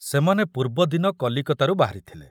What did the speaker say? ସେମାନେ ପୂର୍ବଦିନ କଲିକତାରୁ ବାହାରିଥିଲେ।